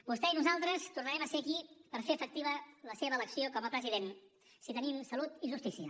vostè i nosaltres tornarem a ser aquí per fer efectiva la seva elecció com a president si tenim salut i justícia